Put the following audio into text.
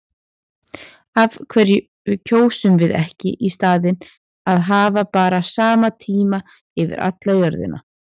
Af hverju kjósum við ekki í staðinn að hafa bara sama tíma yfir alla jörðina?